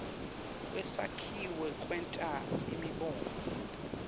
kwesakhiwo kwenta imibono